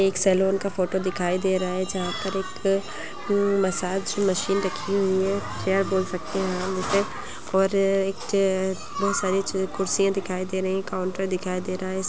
एक सैलून की फोटो दिख रही है जहां एक मैसेज मशीन रखी हुई है आप मुझसे क्या कह सकते है मैं और अधिक देख सकता हूं और एक काउंटर दिखाई दे रहा है।